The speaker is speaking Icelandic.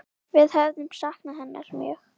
Við höfum saknað hennar mjög.